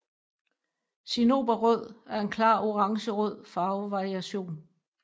Cinnoberrød er en klar orangerød farvevariation